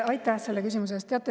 Aitäh selle küsimuse eest!